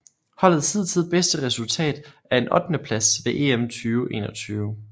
Holdets hidtil bedste resultat er en ottendeplads ved EM 2021